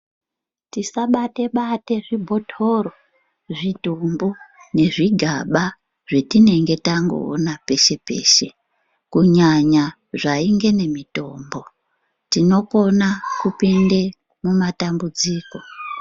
Tisabate bate zvibhotora zvidhumbu nezvi gaba zvetinenge tangoona peshe peshe, kunyanya zvainge nemitombo tinokona kupinde mumatambudziko.